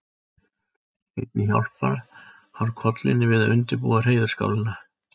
Einnig hjálpar hann kollunni við að undirbúa hreiðurskálina.